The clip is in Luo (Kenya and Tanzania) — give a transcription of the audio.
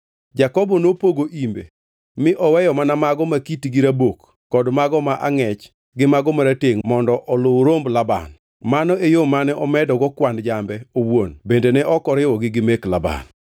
Jakobo nopogo imbe mi oweyo mana mago ma kitgi rabok kod mago ma angʼech gi mago maratengʼ mondo oluw romb Laban. Mano e yo mane omedogo kwan jambe owuon bende ne ok oriwogi gi mek Laban.